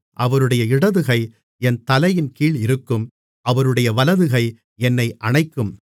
அவருடைய இடதுகை என் தலையின்கீழ் இருக்கும் அவருடைய வலதுகை என்னை அணைக்கும்